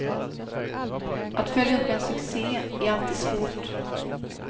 Att följa upp en succé är alltid svårt.